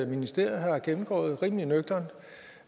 ministeriet har gennemgået rimelig nøgternt